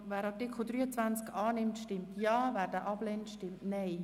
Wer dem Artikel zustimmt, stimmt Ja, wer diesen ablehnt, stimmt Nein.